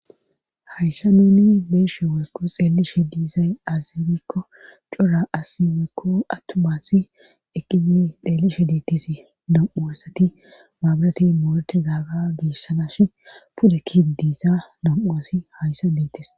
Hayssa nuuni beeshe waykko xeellishe diisay aazirikko cora assi waykko attumaasi eqqiyi xeellishe deittesi dam7u wassati maabilati moorete gaaga geeshsanash pudakki diisa nam'u'assi hayssa deittes.